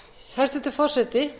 hæstvirtur forseti